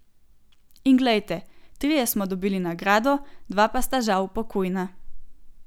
In glejte, trije smo dobili nagrado, dva pa sta žal pokojna.